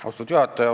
Austatud juhataja!